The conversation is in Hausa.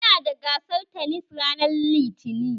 Muna da gasar tanis ranar Litinin